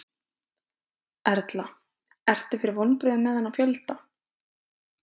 Erla: Ertu fyrir vonbrigðum með þennan fjölda?